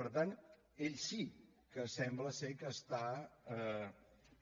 per tant ell sí que sembla que està